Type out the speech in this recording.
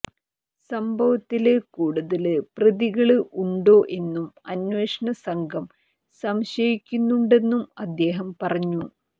സംഭവത്തില് കൂടുതല് പ്രതികള് ഉണ്ടോ എന്നും അന്വേഷണ സംഘം സംശയിക്കുന്നുണ്ടെന്നും അദ്ദേഹം പറഞ്ഞു